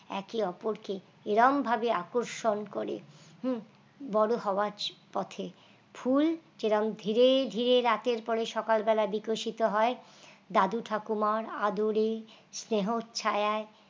একে অপরকে এরকম ভাবে আকর্ষণ করে হুঁ বড় হওয়ার পথে ফুল যে রকম ধীরে ধীরে রাতের পরে সকালবেলায় বিকশিত হয় দাদু ঠাকুমার আদরে স্নেহর ছায়ায়